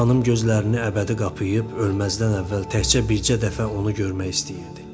Xanım gözlərini əbədi qapıyıb ölməzdən əvvəl təkcə bircə dəfə onu görmək istəyirdi.